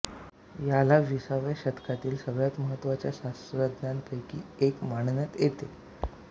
याला विसाव्या शतकातील सगळ्यात महत्त्वाच्या शास्त्रज्ञांपैकी एक मानण्यात येते